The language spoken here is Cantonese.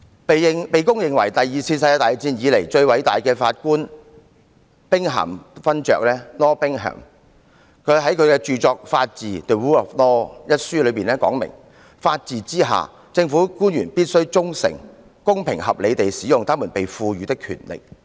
被公認為第二次世界大戰以來最偉大的法官兵咸勳爵 Lord BINGHAM 在其著作《法治》一書中說："法治之下，政府官員必須忠誠、公平合理地使用他們被賦予的權力。